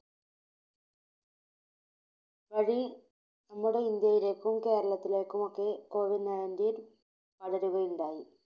വഴി നമ്മുടെ ഇന്ത്യയിലേക്കും കേരളത്തിലേക്കും ഒക്കെ Covid നയൻറ്റീൻ പടരുകയുണ്ടായി.